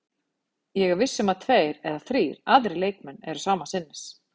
Ég er viss um að tveir eða þrír aðrir leikmenn eru sama sinnis.